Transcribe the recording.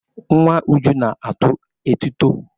Nwa Uju na-atụ etuto.